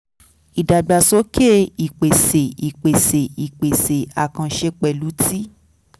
ìdàgbàsókè ìpèsè ìpèsè ìpèsè àkànṣe pẹ̀lú ti